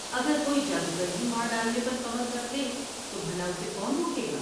اگر کوئی جادوگر ہی مار ڈالنے پر کمر کس لے تو بھلا اسے کون رو گے گا ؟